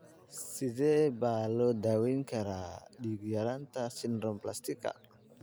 Sidee baa loo daweyn karaa dhiig-yaraanta sideroblastika?